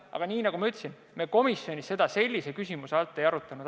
Aga nagu ma ütlesin, me komisjonis seda sellise küsimusena ei arutanud.